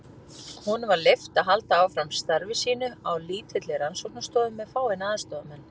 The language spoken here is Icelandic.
Honum var leyft að halda áfram starfi sínu á lítilli rannsóknarstofu með fáeina aðstoðarmenn.